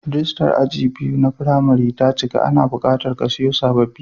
Rijistas aji biyu na firimari ta cika, ana buƙatar a kasiyo sababbi.